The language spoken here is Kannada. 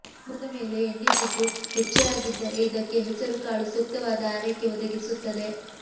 ಮುಖದ ಮೇಲೆ ಎಣ್ಣೆಜಿಡ್ಡು ಹೆಚ್ಚೇ ಆಗಿದ್ದರೆ ಇದಕ್ಕೆ ಹೆಸರುಕಾಳು ಸೂಕ್ತವಾದ ಆರೈಕೆ ಒದಗಿಸುತ್ತದೆ